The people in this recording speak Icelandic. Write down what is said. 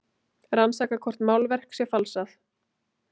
Rannsaka hvort málverk sé falsað